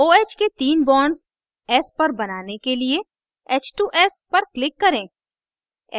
oh के तीन bonds s पर बनाने के लिए h